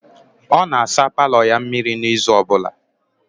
Ọ na-asa paalọ ya mmịrị n'izu ọbụla?